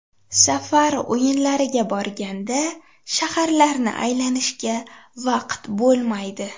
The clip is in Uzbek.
Safar o‘yinlariga borganda shaharlarni aylanishga vaqt bo‘lmaydi.